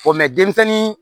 mɛ denmisɛnnin